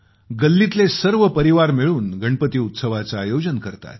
गल्लीतले सर्व परिवार मिळून गणपती उत्सवाचे आयोजन करतात